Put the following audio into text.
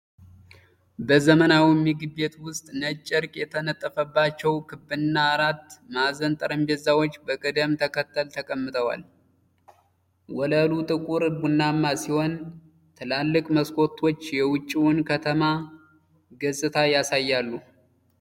በዘመናዊ ምግብ ቤት ውስጥ ነጭ ጨርቅ የተነጠፈባቸው ክብና አራት ማዕዘን ጠረጴዛዎች በቅደም ተከተል ተቀምጠዋል። ወለሉ ጥቁር ቡናማ ሲሆን፣ ትላልቅ መስኮቶች የውጭውን የከተማ ገጽታ ያሳያሉ።